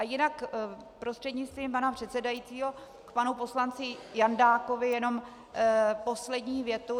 A jinak prostřednictvím pana předsedajícího k panu poslanci Jandákovi jenom poslední větu.